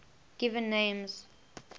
given names